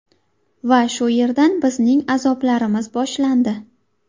Va shu yerdan bizning azoblarimiz boshlandi.